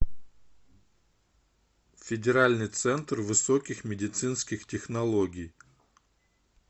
федеральный центр высоких медицинских технологий